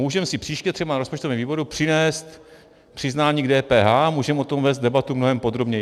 Můžeme si příště třeba na rozpočtovém výboru přinést přiznání k DPH, můžeme o tom vést debatu mnohem podrobněji.